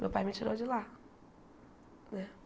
Meu pai me tirou de lá.